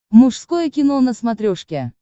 мужское кино на смотрешке